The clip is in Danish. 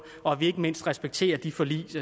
og at vi ikke mindst respekterer de forlig